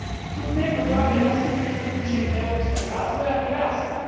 Tu dnevno borave nositelji budućeg europskog razvoja i rasta.